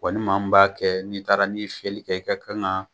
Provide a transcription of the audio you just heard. Wa ni maa min b'a kɛ, n'i taara n'i ye fiyɛli kɛ, i ka kan ka